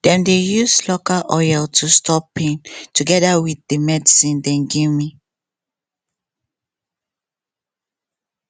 dem dey use local oil to stop pain togeda with the medcine dem give me